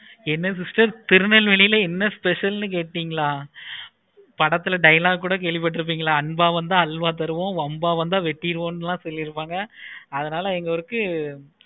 என்ன sister திருநெல்வேலில என்ன special கேட்குறீங்களா? படத்துல dialog கூட கேள்வி பட்டுருக்கீங்களா? அன்ப வந்த அல்வா தருவோம். வம்ப வந்த வெட்டிருவோம்னா சொல்லிருப்பாங்க அதனால எங்க ஒருக்கு